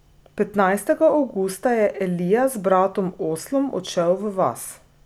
Petnajstega avgusta je Elija z bratom Oslom odšel v vas.